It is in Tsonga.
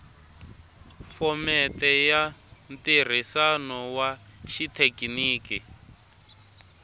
phomete ya ntirhisano wa xithekiniki